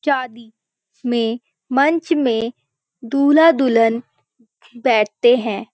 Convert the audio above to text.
शादी में मंच में दूल्हा-दुल्हन बैठते हैं|